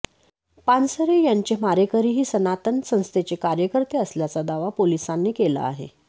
पानसरे यांचे मारेकरीही सनातन संस्थेचे कार्यकर्ते असल्याचा दावा पोलिसांनी केला आहे